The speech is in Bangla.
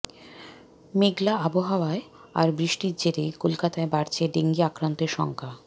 মেঘলা আবহাওয়া আর বৃষ্টির জেরে কলকাতায় বাড়ছে ডেঙ্গি আক্রান্তের সংখ্যা